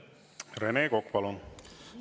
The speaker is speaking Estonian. Rene Kokk, palun!